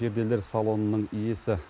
перделер салонының иесі